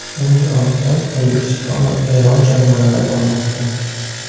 Uning ortidan O‘zbekiston va Eron jamoalari bormoqda.